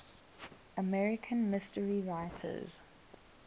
american mystery writers